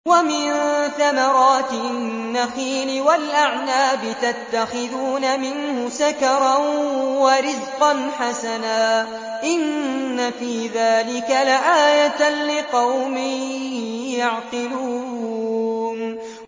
وَمِن ثَمَرَاتِ النَّخِيلِ وَالْأَعْنَابِ تَتَّخِذُونَ مِنْهُ سَكَرًا وَرِزْقًا حَسَنًا ۗ إِنَّ فِي ذَٰلِكَ لَآيَةً لِّقَوْمٍ يَعْقِلُونَ